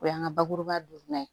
O y'an ka bakuruba ye